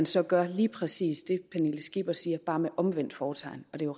så gør man lige præcis det fru pernille skipper siger bare med omvendt fortegn og det